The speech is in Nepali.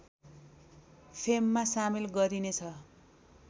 फेममा सामेल गरिने छ